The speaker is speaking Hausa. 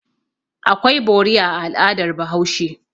Akwai bori a al'adar Bahaushe.